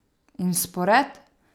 In spored?